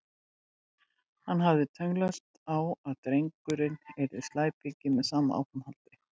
Hann hafði tönnlast á að drengurinn yrði slæpingi með sama áframhaldi.